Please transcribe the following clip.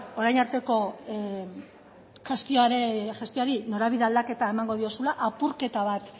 orain arteko gestioari norabide aldaketa emango diozula apurketa bat